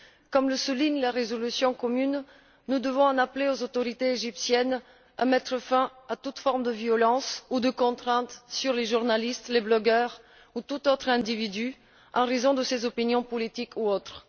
Comme le souligne la résolution commune, nous devons appeler aux autorités égyptiennes de mettre fin à toute forme de violence ou de contrainte envers les journalistes, les blogueurs ou tout autre individu, en raison de leurs opinions politiques ou autres.